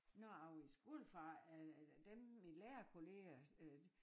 Når jeg var i skole fra eller dem mine lærerkolleger øh